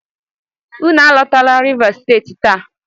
Unu alotala Rivas Steeti taa!